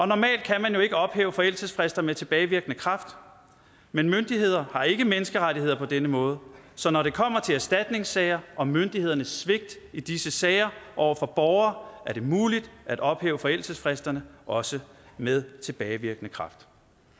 normalt kan man jo ikke ophæve forældelsesfrister med tilbagevirkende kraft men myndigheder har ikke menneskerettigheder på denne måde så når det kommer til erstatningssager og myndighedernes svigt i disse sager over for borgere er det muligt at ophæve forældelsesfristerne også med tilbagevirkende kraft